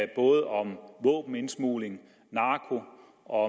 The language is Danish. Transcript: både om våbenindsmugling narko og